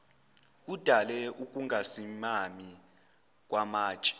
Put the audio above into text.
kudale ukungasimami kwamatshe